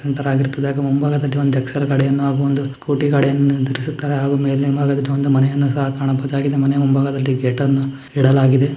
ಮುಂದುಗಡೆ ಒಂದು ಎಕ್ಸೆಲ್ ಗಾಡಿ ಮತ್ತು ಒಂದು ಸ್ಕೂಟಿ ಯನ್ನು ನಿಲ್ಲಿಸಿದ್ದಾರೆ ಒಂದು ಮನೆಯನ್ನು ನೋಡಬಹುದು ಮುಂದೆ ಒಂದು ಗೇಟ ನ್ನು ನೀಡಲಾಗಿದೆ.